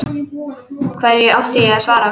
Hverju átti ég að svara?